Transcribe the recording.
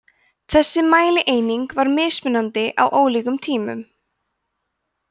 þessi mælieining var mismunandi á ólíkum tímum